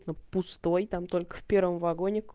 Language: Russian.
это пустой там только первом вагоне